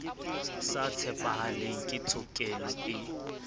sa tshepahaleng ke tshokelo e